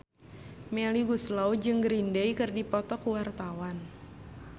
Melly Goeslaw jeung Green Day keur dipoto ku wartawan